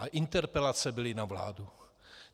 A interpelace byly na vládu.